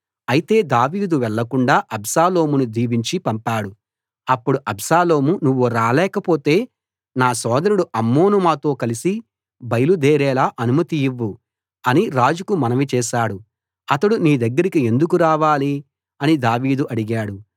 అయితే దావీదు వెళ్లకుండా అబ్షాలోమును దీవించి పంపాడు అప్పుడు అబ్షాలోము నువ్వు రాలేకపోతే నా సోదరుడు అమ్నోను మాతో కలసి బయలుదేరేలా అనుమతి ఇవ్వు అని రాజుకు మనవి చేశాడు అతడు నీ దగ్గరికి ఎందుకు రావాలి అని దావీదు అడిగాడు